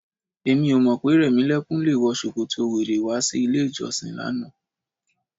Èmi ò mọ̀ pé Rẹ̀mílẹ́kún le wọ ṣòkòtò wèrè wá sí ilé-ìjọsìn lánàá.